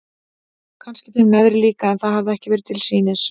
Kannski þeim neðri líka en það hafði ekki verið til sýnis.